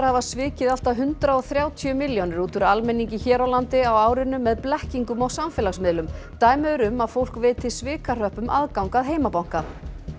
hafa svikið allt að hundrað og þrjátíu milljónir út úr almenningi hér á landi á árinu með blekkingum á samfélagsmiðlum dæmi eru um að fólk veiti svikahröppum aðgang að heimabanka